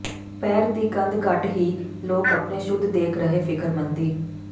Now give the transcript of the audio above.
ਪੈਰ ਦੀ ਗੰਧ ਘੱਟ ਹੀ ਲੋਕ ਆਪਣੇ ਸ਼ੁੱਧ ਦੇਖ ਰਹੇ ਫ਼ਿਕਰਮੰਦੀ